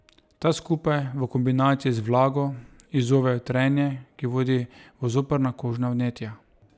Ta skupaj v kombinaciji z vlago izzovejo trenje, ki vodi v zoprna kožna vnetja.